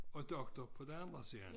Og doktor på den anden side